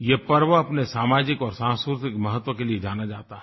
यह पर्व अपने सामाजिक और सांस्कृतिक महत्त्व के लिए जाना जाता है